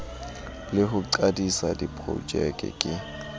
le ho qadisa diprojeke ke